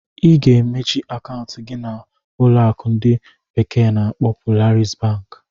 Ị ga-emechi akaụntụ gị na na ụlọ akụ ndi bekee na-akpo Polaris bank.